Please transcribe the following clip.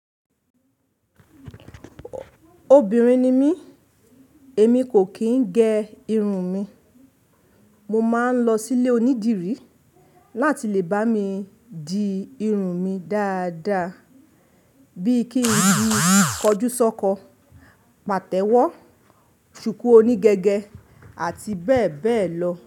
Obìnrin ni mí, èmi kò kì í gẹ irun mi. Mo máa ń lọ sí ilé onídìrí láti lè bá mi di irun mi dáadáa, bíi kí n di kọjúsọ́kọ, pàtẹ́wọ́, ṣùkú oní gẹ́gẹ́ àti bẹ́ẹ̀ bẹ́ẹ̀ lọ.